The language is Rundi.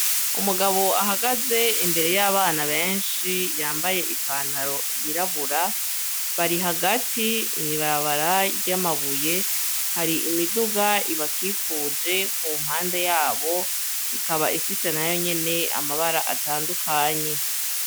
Umugabo ahagaze imbere y'abana benshi yambaye ipantaro yirabura ,bari hagati mw'ibarabara ry'anabuye hari imiduga ibakikuje ku mpande yabo, ikaba ifise nayo nyene amabara atandukanye.